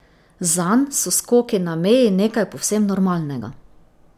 Zanj so skoki na meji nekaj povsem normalnega.